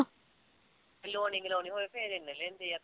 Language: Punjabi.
ਕਰਵਾਉਣੀ ਹੋਵੇ ਫਿਰ ਇੰਨੇ ਲੈਂਦੀ ਆ